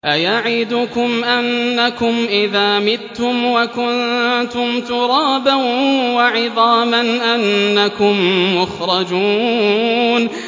أَيَعِدُكُمْ أَنَّكُمْ إِذَا مِتُّمْ وَكُنتُمْ تُرَابًا وَعِظَامًا أَنَّكُم مُّخْرَجُونَ